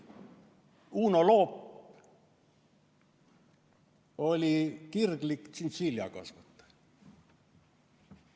Uno Loop oli kirglik tšintšiljakasvataja.